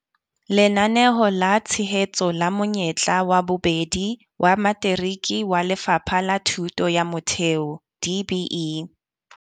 Lenaneo la tshehetso la monyetla wa bobedi wa materiki wa Lefapha la Thuto ya Motheo DBE.